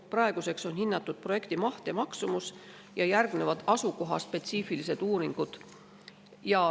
Praeguseks on hinnatud projekti maht ja maksumus ja järgnevad asukohaspetsiifilised uuringud.